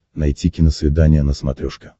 найти киносвидание на смотрешке